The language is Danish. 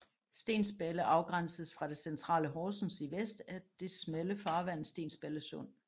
Stensballe afgrænses fra det centrale Horsens i vest af det smalle farvand Stensballe Sund